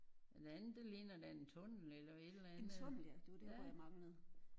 Den anden det ligner da en tunnel eller et eller andet ja